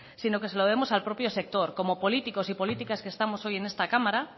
sino que se le debemos al propio sector como políticos y políticas que estamos hoy en esta cámara